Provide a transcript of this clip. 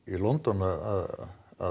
London að